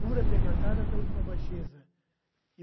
Pura, degradada, até a última baixeza.